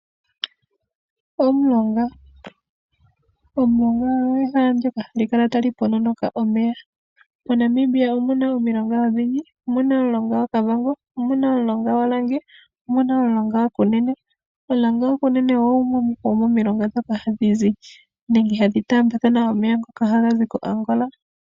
Omulongo . Omulongo ogo ehala ndoka hali kala tali matuka omeya . Monamibia omuna omilonga odhindji . Omuna Omulonga gwakavango, omuna omulonga gwa Orange ,omuna omulonga gwa Kunene. Omulonga gwa Kunene ogwo gumwe gwomomulonga ngoka hagu taambathana omeya tagazi ko Angola.